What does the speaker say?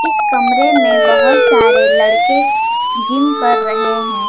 इस कमरे में बहोत सारे लड़के जिम कर रहे हैं।